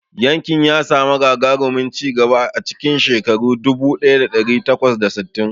Yankin ya samu gagarumin ci gaba a cikin shekara dubu ɗaya da ɗari takwas da sittin.